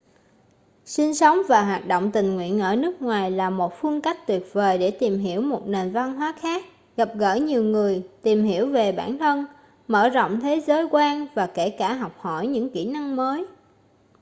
sinh sống và hoạt động tình nguyện ở nước ngoài là một phương cách tuyệt vời để tìm hiểu một nền văn hóa khác gặp gỡ nhiều người tìm hiểu về bản thân mở rộng thế giới quan và kể cả học hỏi những kỹ năng mới